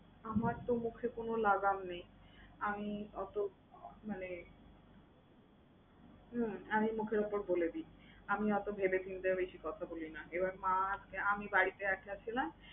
আমার তো মুখে কোন লাগাম নেই। আমি অতো মানে হুম আমি মুখের উপর বলে দেই। আমি অতো ভেবেচিন্তে বেশি কথা বলি না। এবার মা আজকে আমি বাড়িতে একা ছিলাম